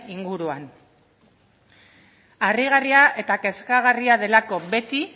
inguruan harrigarria eta kezkagarria delako beti